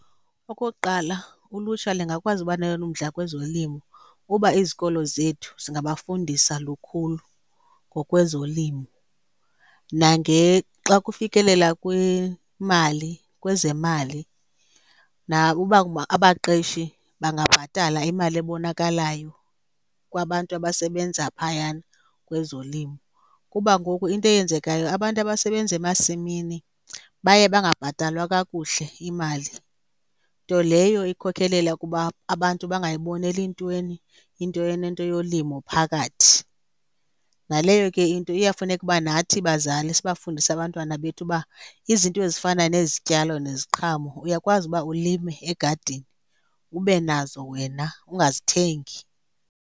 Okokuqala, ulutsha lingakwazi uba nayo na umdla kwezolimo uba izikolo zethu zingabafundisa lukhulu ngokwezolimo. Xa kufikelela kwimali, kwezemali uba abaqeshi bangabhatala imali ebonakalayo kwabantu abasebenza phayana kwezolimo. Kuba ngoku into eyenzekayo abantu abasebenza emasimini baye bangabhatalwa kakuhle imali, nto leyo ikhokhelela kuba abantu bangayiboneli ntweni into enento yolimo phakathi. Naleyo ke into iyafuneka uba nathi bazali sibafundise abantwana bethu uba izinto ezifana nezityalo neziqhamo uyakwazi uba ulime egadini, ube nazo wena ungazithengi.